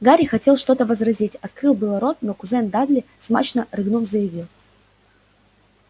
гарри хотел что-то возразить открыл было рот но кузен дадли смачно рыгнув заявил